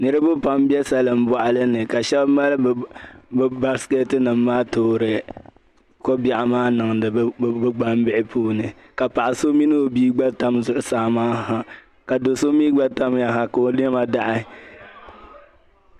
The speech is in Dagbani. Niribi pam. n be salin bɔɣilini ka shab mali bi. basket nim maa. toori kobɛɣu maa n niŋdi bi gban bihi. puuni ka paɣisɔ mini obii tam zuɣu saa na, ka do' sɔ mi gba tamyaha ka o nema daɣi